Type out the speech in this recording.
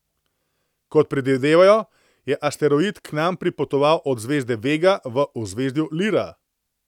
Kot predvidevajo, je asteroid k nam pripotoval od zvezde Vega v ozvezdju Lira.